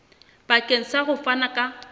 bakeng sa ho fana ka